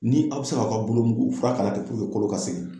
Ni aw bɛ se k'aw ka bolo mugu fura k'a la ten kolo ka segin